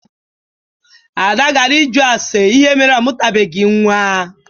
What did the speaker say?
Ada gara ịjụ ase ihe mere ọ mụtabeghi nwa.